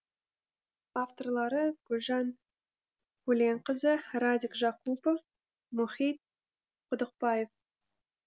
авторлары гүлжан көленқызы радик жакупов мұхит құдықбаев